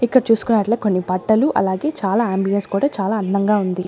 ఇక్కడ చూసుకునట్లే కొన్ని బట్టలు అలాగే చాలా అంబియన్స్ కూడా చాలా అందంగా ఉంది.